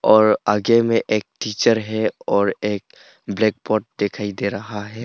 और आगे में एक टीचर है और एक ब्लैक बोर्ड दिखाई दे रहा है।